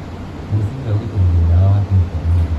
Mũcibi wa gũitĩrĩria dawa watinũka ũmũthĩ.